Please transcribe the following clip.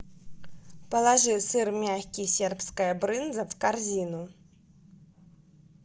положи сыр мягкий сербская брынза в корзину